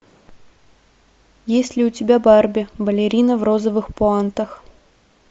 есть ли у тебя барби балерина в розовых пуантах